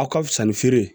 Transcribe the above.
A ka fisa ni feere